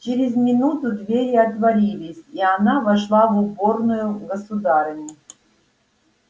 через минуту двери отворились и она вошла в уборную государыни